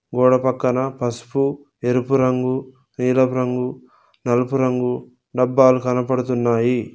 గోడ పక్కన పసుపు ఎరుపు రంగు ఎరుపు రంగు నలుపు రంగు డబ్బాలు కనపడుతున్నాయి.